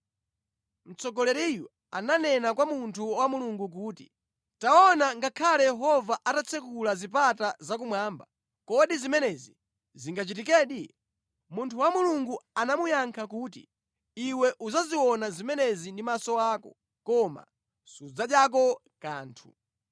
Mtsogoleriyu ananena kwa munthu wa Mulungu kuti, “Taona, ngakhale Yehova atatsekula zipata zakumwamba, kodi zimenezi zingachitikedi?” Munthu wa Mulungu anamuyankha kuti, “Iwe udzaziona zimenezi ndi maso ako, koma sudzadyako kanthu.”